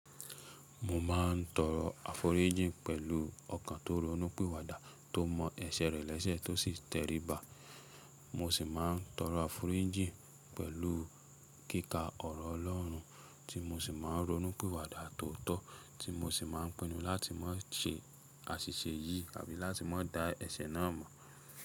Mo máa ń tọrọ àforíjìn pẹ̀lú ọkàn tó ronú pìwàdà tó mọ ẹsẹ̀ rẹ lẹ́sẹ̀ tó sì tẹríba. Mo sì máa ń tọrọ àforíjìn pẹ̀lú kíka ọ̀rọ̀ Ọlọ́run tí mo sì máa ń ronú pìwàdà tó tọ́, tí mo sì máa ń pinnu láti má ṣe àṣìṣe yìí àbí láti má da ẹsẹ̀ náà mọ̀.